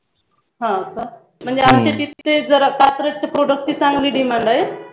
हं का? म्हणजे आमच्या तिथे जरा साखरेच्या Product ची चांगली Demand आहे हा का